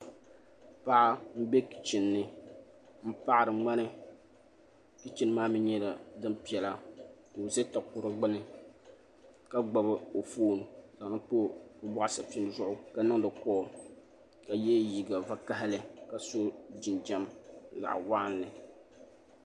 Paɣa n bɛ kichin ni n paɣiri ŋmani kichin maa mi nyɛla din piɛla ka o za takoro gbuni ka gbubi o fooni n zaŋ li pa o bɔɣu sapiŋ zuɣu ka niŋdi kɔɔl ka?yɛ liiga vakahili ka so jinjam zaɣa waɣinli.